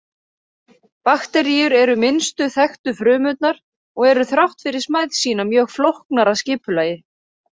Bakteríur eru minnstu þekktu frumurnar og eru þrátt fyrir smæð sína mjög flóknar að skipulagi.